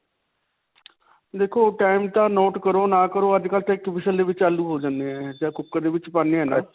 ਦੇਖੋ time ਤਾਂ note ਕਰੋ ਨਾ ਕਰੋ ਅੱਜਕਲ੍ਹ ਇੱਕ whistle ਦੇ ਵਿੱਚ ਆਲੂ ਹੋ ਜਾਂਦੇ ਹੈ. ਜੱਦ cooker ਦੇ ਵਿੱਚ ਪਾਉਂਦੇ ਹੈ ਨਾ.